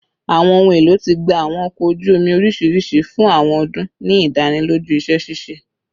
Awọn ohun elo ti gba awọn ọkọ oju omi oriṣiriṣi fun awọn ọdun, ni idaniloju iṣẹ ṣiṣe